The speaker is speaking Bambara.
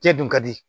Cɛ dun ka di